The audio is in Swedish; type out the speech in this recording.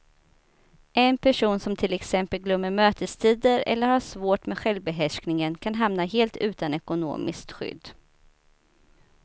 En person som till exempel glömmer mötestider eller har svårt med självbehärskningen kan hamna helt utan ekonomiskt skydd.